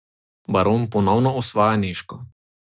Baron ponovno osvaja Nežko.